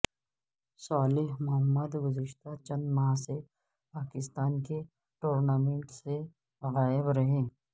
صالح محمد گزشتہ چند ماہ سے پاکستان کے ٹورنامنٹس سے غائب رہے